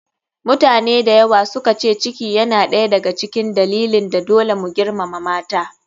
Mutane dayawa suka ce ciki yana ɗaya da ga cikin dalilin da dole mu girmama mata.